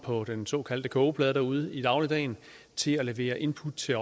på den såkaldte kogeplade derude i dagligdagen til at levere input til